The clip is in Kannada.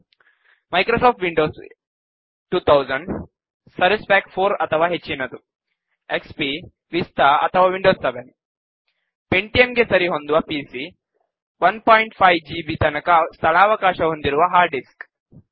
ಮೈಕ್ರೋಸಾಫ್ಟ್ ವಿಂಡೋಸ್ 2000 ಸರ್ವಿಸ್ ಪ್ಯಾಕ್ 4 ಅಥವಾ ಹೆಚ್ಚಿನದು ಎಕ್ಸ್ಪಿ ವಿಸ್ತಾ ಅಥವಾ ವಿಂಡೋಸ್ 7 ಪೆಂಟಿಯಂ ಗೆ ಸರಿಹೊಂದುವ ಪಿಸಿ 15 ಜಿಬಿ ತನಕ ಸ್ಥಳಾವಕಾಶ ಹೊಂದಿರುವ ಹಾರ್ಡ್ ಡಿಸ್ಕ್